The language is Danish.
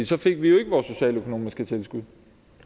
så fik vi jo ikke vores socialøkonomiske tilskud